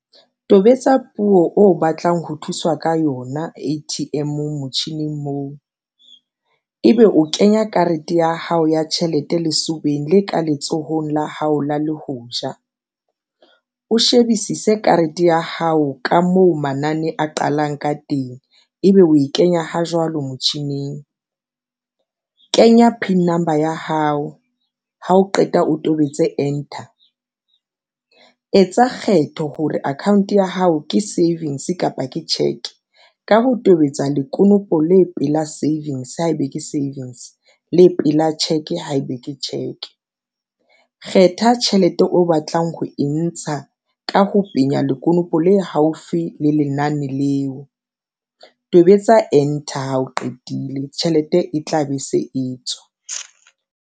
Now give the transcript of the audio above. Tobetsa puo o batlang ho thuswa ka yona A_T_M-ong motjhining moo, ebe o kenya karete ya hao ya tjhelete lesobeng le ka letsohong la le hoja o shebisise karete ya hao ka moo manane a qalang ka teng, ebe o e kenya ho jwalo motjhining, kenya P_I_N number ya hao ha o qeta o tobetse enter tsa kgetho hore account ya hao ke savings kapa ke cheque ka ho tobetsa le konopo le pela savings haebe ke savings le pela check haebe ke check. Kgetha tjhelete o batlang ho e ntsha ka ho penya lekonopo le haufi le lenane leo. Tobetsa enter ha o qetile tjhelete e tla be se e tswa.